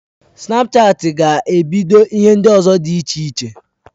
Snapchatị ga ebido ihe ndi ozo di iche iche